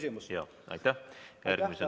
Ma vabandan!